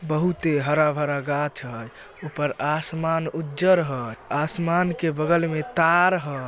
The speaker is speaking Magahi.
बहुते हरा-भरा गाछ हय ऊपर आसमान उज्जर हय आसमान के बगल में तार ह।